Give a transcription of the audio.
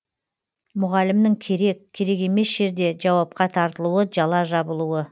мұғалімнің керек керек емес жерде жауапқа тартылуы жала жабылуы